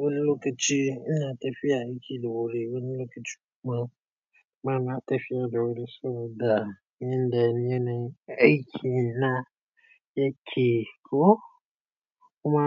wani lokaci ina tafiya aiki da wuri wani lokaci kuma kuma ina tafiya da wuri saboda yanda yanayin aiki na yake ko kuma.